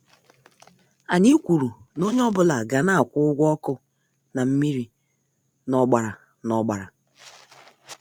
Anyị kwụrụ na-onye ọ bụla ga- na akwụ ụgwọ ọkụ na mmiri na- ọgbara na- ọgbara.